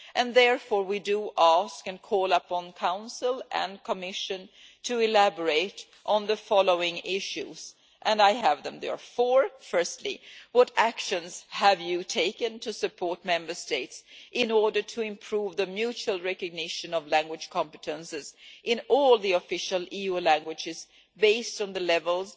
Therefore, we ask and call upon the Council and the Commission to elaborate on the following issues and I have them, there are four Firstly, what actions have you taken to support Member States in order to improve the mutual recognition of language competences in all the official EU languages, based on the levels